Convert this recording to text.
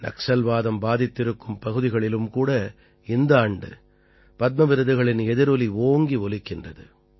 நக்சல்வாதம் பாதித்திருக்கும் பகுதிகளிலும் கூட இந்த ஆண்டு பத்ம விருதுகளின் எதிரொலி ஓங்கி ஒலிக்கின்றது